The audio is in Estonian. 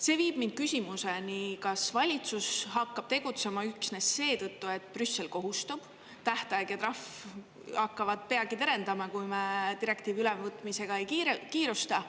See viib mind küsimuseni, kas valitsus hakkab tegutsema üksnes seetõttu, et Brüssel kohustab, tähtaeg ja trahv hakkavad peagi terendama, kui me direktiivi ülevõtmisega ei kiirusta?